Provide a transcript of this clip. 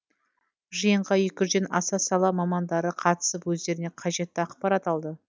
жиынға екі жүзден аса сала мамандары қатысып өздеріне қажетті ақпарат алды